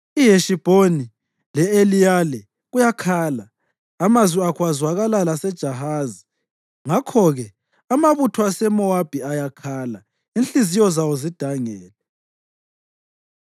IHeshibhoni le-Eliyale kuyakhala, amazwi akho azwakala laseJahazi. Ngakho-ke amabutho aseMowabi ayakhala, inhliziyo zawo zidangele.